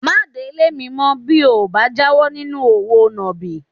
Má délé mi mọ́ bí o ò bá jáwọ́ nínú òwò nàbì